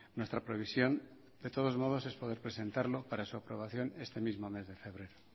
nuestra previsión de todos modos es poder presentarlo para su aprobación este mismo mes de febrero